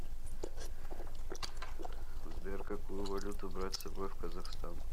сбер какую валюту брать с собой в казахстан